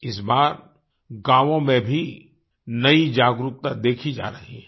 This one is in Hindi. इस बार गाँवों में भी नई जागरूकता देखी जा रही है